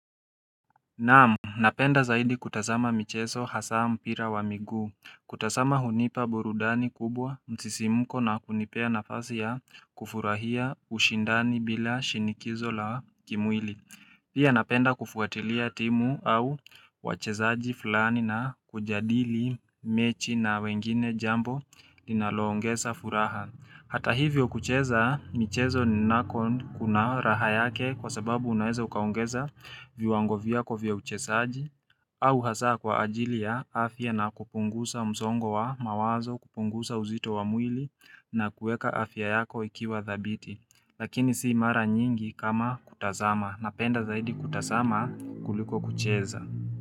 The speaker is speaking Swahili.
Naam, napenda zaidi kutasama micheso hasaa mpira wa miguu. Kutasama hunipa burudani kubwa msisi mko na kunipea nafasi ya kufurahia ushindani bila shinikizo la kimwili. Pia napenda kufuatilia timu au wachezaji fulani na kujadili mechi na wengine jambo ninaloongesa furaha. Hata hivyo kucheza michezo ni nakon kuna raha yake kwa sababu unaeza ukaongeza viwango viyako vya uchesaji au hasa kwa ajili ya afya na kupungusa mzongo wa mawazo, kupungusa uzito wa muili na kueka afya yako ikiwa dhabiti. Lakini sii mara nyingi kama kutazama Napenda zaidi kutazama kuliko kucheza.